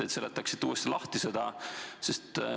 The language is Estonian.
Ehk seletaksite seda uuesti?